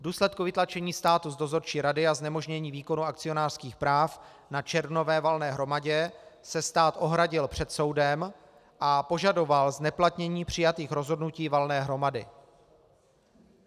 V důsledku vytlačení státu z dozorčí rady a znemožnění výkonu akcionářských práv na červnové valné hromadě se stát ohradil před soudem a požadoval zneplatnění přijatých rozhodnutí valné hromady.